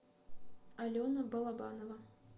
алена балабанова